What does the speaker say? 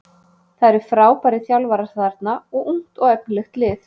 Það eru frábærir þjálfara þarna og ungt og efnilegt lið.